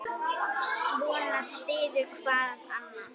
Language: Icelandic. Svona styður hvað annað.